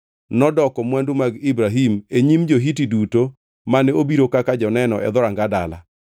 nodoko mwandu mag Ibrahim e nyim jo-Hiti duto mane obiro kaka joneno e dhoranga dala.